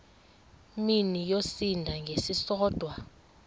mini yosinda ngesisodwa